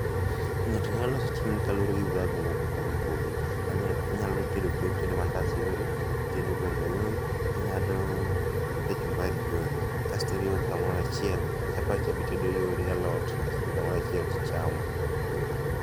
Ng'ato nyalo loso chiemo ni kaluore gi viragu mopogore opogore. Anya, inyalo loso, itedo mandas yore, itedo gweno yore, ingado, kachumbari yore kasto iriwo gi kamoro achiel. Chapat cha be itedo yore gi alot kasto iriwo gi kamoro achiel tichamo